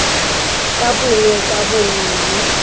ka bongwe ka bongwe mme